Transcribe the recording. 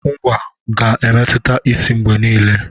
Ngwá ga-emetụta isi mgbe niile.